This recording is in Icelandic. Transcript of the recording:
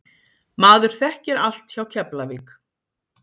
Maður þekkir allt hjá Keflavík.